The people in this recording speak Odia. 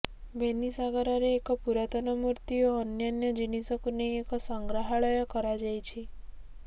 ବେନିସାଗାରରେ ଏକ ପୁରାତନ ମୃତ୍ତି ଓ ଅନ୍ୟାନ୍ୟ ଜିନିଷକୁ ନେଇ ଏକ ସଂଗ୍ରହାଳୟ କରାଯାଇଛି